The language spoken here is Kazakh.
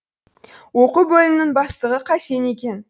оқу бөлімінің бастығы қасен екен